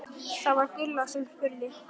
Það var Gulla sem spurði.